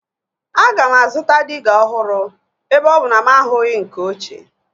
Aga m azụta diga ọhụrụ ebe ọ bụ na mụ ahụghị nke ochie